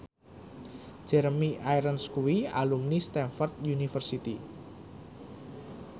Jeremy Irons kuwi alumni Stamford University